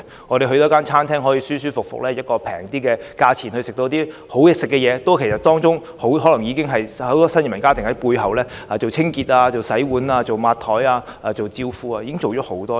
我們可以在某餐廳舒舒服服地以較為便宜的價錢享受美味的食物，也可能是因為有很多新移民家庭在背後擔任清潔、洗碗、抹桌子和招呼客人的工作。